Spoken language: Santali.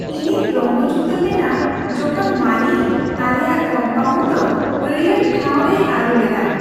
ᱤᱧᱤᱧ ᱨᱚᱢᱚᱪ ᱩᱛᱟᱹᱨ ᱞᱮᱱᱟ ᱡᱚᱠᱷᱚᱱ ᱢᱟᱞᱤ ᱟᱞᱮᱭᱟᱜ ᱠᱚᱢᱯᱟᱣᱩᱱᱰ ᱫᱚ ᱦᱟᱹᱲᱭᱟᱹᱨ ᱴᱷᱟᱣ ᱨᱮᱭ ᱟᱹᱨᱩ ᱞᱮᱫᱟ ᱾